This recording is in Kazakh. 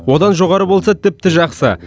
одан жоғары болса тіпті жақсы